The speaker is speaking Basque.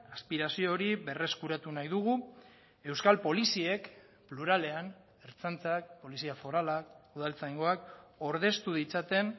aspirazio hori berreskuratu nahi dugu euskal poliziek pluralean ertzaintzak polizia foralak udaltzaingoak ordeztu ditzaten